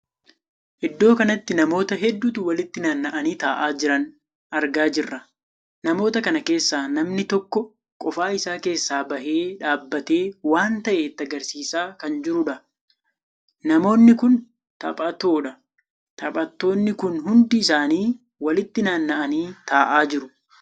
Iddoo kanatti namoota hedduutu walitti naanna'anii taa'aa jiran argaa jirra. namoota kan keessaa namni tokko qofa isaa keessaa bahee dhaabbatee waan tahee itti argarsiisaa kan jiruudha. namoonni kun taphatoodha. taphattoonni kun hundi isaanii walitti naannaanii taa'aa jiru.